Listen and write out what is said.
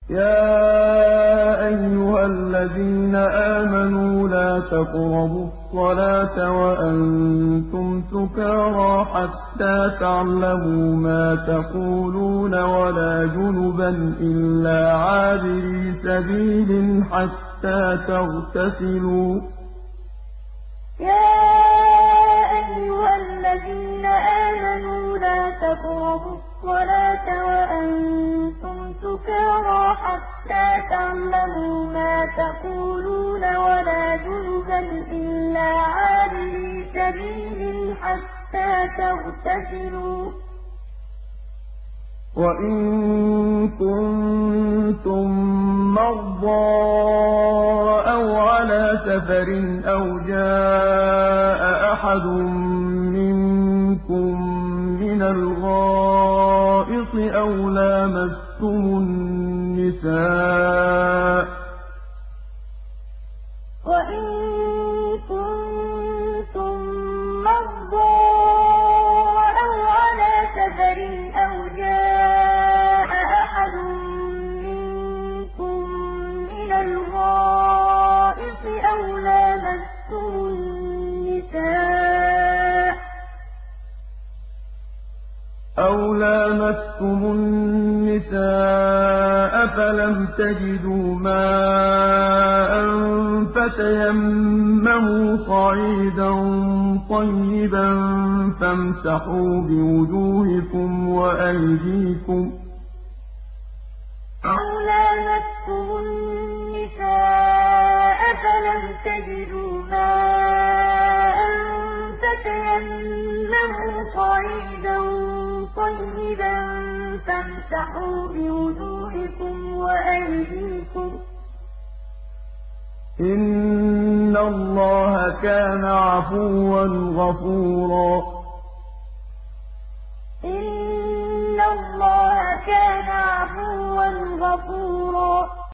يَا أَيُّهَا الَّذِينَ آمَنُوا لَا تَقْرَبُوا الصَّلَاةَ وَأَنتُمْ سُكَارَىٰ حَتَّىٰ تَعْلَمُوا مَا تَقُولُونَ وَلَا جُنُبًا إِلَّا عَابِرِي سَبِيلٍ حَتَّىٰ تَغْتَسِلُوا ۚ وَإِن كُنتُم مَّرْضَىٰ أَوْ عَلَىٰ سَفَرٍ أَوْ جَاءَ أَحَدٌ مِّنكُم مِّنَ الْغَائِطِ أَوْ لَامَسْتُمُ النِّسَاءَ فَلَمْ تَجِدُوا مَاءً فَتَيَمَّمُوا صَعِيدًا طَيِّبًا فَامْسَحُوا بِوُجُوهِكُمْ وَأَيْدِيكُمْ ۗ إِنَّ اللَّهَ كَانَ عَفُوًّا غَفُورًا يَا أَيُّهَا الَّذِينَ آمَنُوا لَا تَقْرَبُوا الصَّلَاةَ وَأَنتُمْ سُكَارَىٰ حَتَّىٰ تَعْلَمُوا مَا تَقُولُونَ وَلَا جُنُبًا إِلَّا عَابِرِي سَبِيلٍ حَتَّىٰ تَغْتَسِلُوا ۚ وَإِن كُنتُم مَّرْضَىٰ أَوْ عَلَىٰ سَفَرٍ أَوْ جَاءَ أَحَدٌ مِّنكُم مِّنَ الْغَائِطِ أَوْ لَامَسْتُمُ النِّسَاءَ فَلَمْ تَجِدُوا مَاءً فَتَيَمَّمُوا صَعِيدًا طَيِّبًا فَامْسَحُوا بِوُجُوهِكُمْ وَأَيْدِيكُمْ ۗ إِنَّ اللَّهَ كَانَ عَفُوًّا غَفُورًا